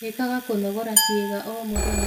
Ikaga kũnogora ciiga o mũthenya